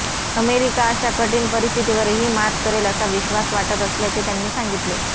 America अशा कठीण परिस्थितीवरही मात करेल असा विश्वास वाटत असल्याचे त्यांनी सांगितले